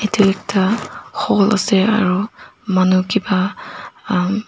edu ekta hall ase aru manu kipa um